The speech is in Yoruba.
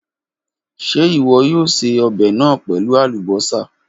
Ṣe iwọ yoo ṣe ọbẹ naa pẹlu alubosa?